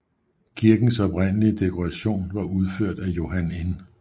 Kirkens oprindelige dekoration var udført af Johan N